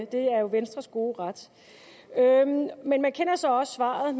det er jo venstres gode ret men man kender så også svaret